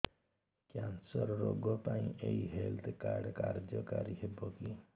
cancer ରୋଗ ପାଇଁ ଏଇ ହେଲ୍ଥ କାର୍ଡ କାର୍ଯ୍ୟକାରି ହେବ କି